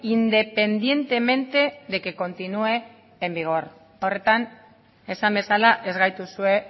independientemente de que continúe en vigor horretan esan bezala ez gaituzue